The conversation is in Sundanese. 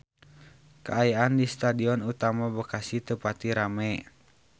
Kaayaan di Stadion Utama Bekasi teu pati rame